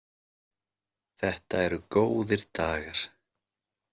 Þetta eru góðir dagar.